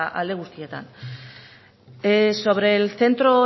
alde guztietan sobre el centro